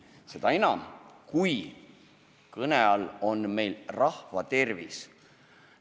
Seda enam, kui kõne all on rahva tervis.